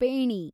pheni